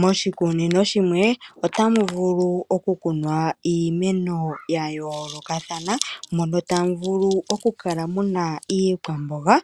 Moshikunino shimwe, otamu vulu okukunwa iimeno ya yoolokathana, mono tamu vulu okukala muna iikwamboga